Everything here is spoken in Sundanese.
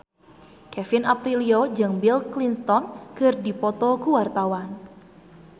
Kevin Aprilio jeung Bill Clinton keur dipoto ku wartawan